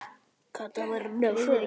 Alltof seinn fyrir.